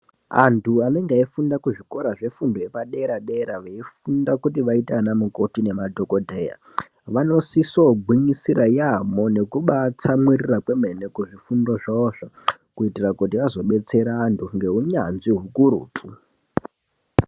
Antu anenge eifunda kuzvikoro zvefundo yepadera-dera veifunda kuti vaite vana mukoti nemadhogodheya. Vanosiso gwinyisira yaamho nekubatsamwirira kwemene kuzvifundo zvavozvo. Kuitira kuti vazobetsere antu ngeunyanzvi hukurutu.